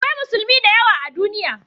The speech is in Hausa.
Akwai Musulmi da yawa a duniya